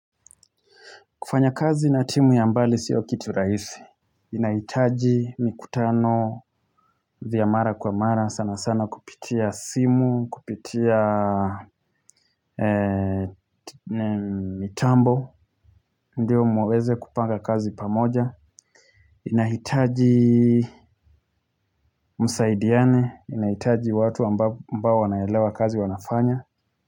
Kufanya kazi na timu ya mbali sio kitu rahisi. Inahitaji mikutano, vya mara kwa mara, sana sana kupitia simu, kupitia mitambo ndio muweze kupanga kazi pamoja. Inahitaji msaidiane, inahitaji watu ambao wanaelewa kazi wanafanya.